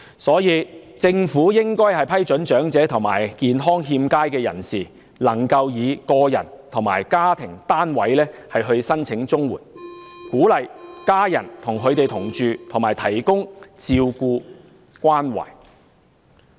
因此，政府應該批准長者及健康欠佳的人士以個人或家庭單位申請綜援，藉此鼓勵家人與他們同住，提供照顧和關懷。